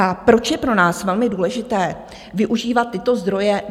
A proč je pro nás velmi důležité využívat tyto zdroje?